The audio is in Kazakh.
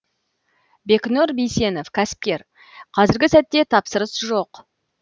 бекнұр бисенов кәсіпкер қазіргі сәтте тапсырыс жоқ